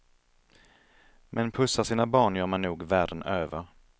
Men pussar sina barn gör man nog världen över.